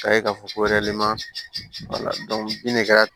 K'a ye k'a fɔ ko de kɛra